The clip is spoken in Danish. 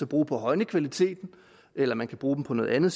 bruge på at højne kvaliteten eller man kan bruge dem på noget andet